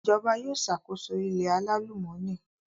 Ìjọba yóò ṣàkóso ilẹ̀ alálùmọ́nì